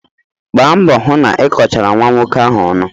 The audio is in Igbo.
Gbaa mbọ hụ na ị kọchara nwa nwoke ahụ ọnụ!